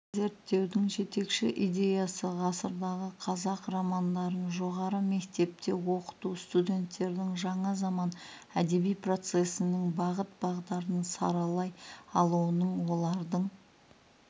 зерттеудің жетекші идеясы ғасырдағы қазақ романдарын жоғары мектепте оқыту студенттердің жаңа заман әдеби процесінің бағыт-бағдарын саралай алуының олардың